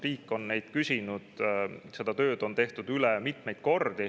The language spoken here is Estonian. Riik on neid küsinud, seda tööd on mitmeid kordi üle tehtud.